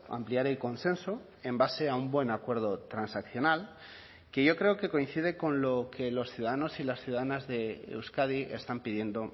ampliar el consenso en base a un buen acuerdo transaccional que yo creo que coincide con lo que los ciudadanos y las ciudadanas de euskadi están pidiendo